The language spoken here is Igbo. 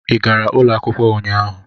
Ị gara ụlọ akwụkwọ ụnyaahụ?